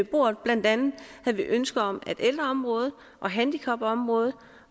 bordet blandt andet havde vi ønske om at ældreområdet og handicapområdet